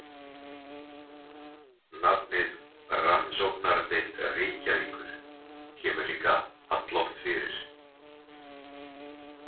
Nafnið Rannsóknardeild Reykjavíkur kemur líka alloft fyrir.